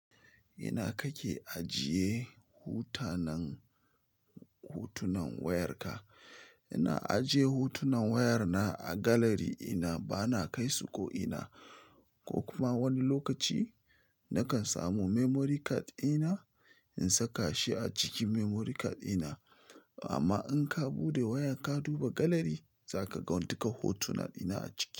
Ina kake ajiye hotunan wayarka? Ina ajiye hotunan waya na a gallery dina bana kaisu ko ina. Ko kuma wani lokaci nakan samu memory card ina in saka shi a cikin memory card ina. Amma in ka bude wayar ka duba gallery za ka ga duka hotunan ina a ciki.